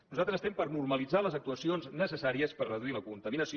nosaltres estem per normalitzar les actuacions necessàries per reduir la contaminació